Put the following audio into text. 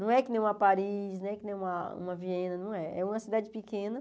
Não é que nem uma Paris, não é que nem uma uma Viena, não é. É uma cidade pequena.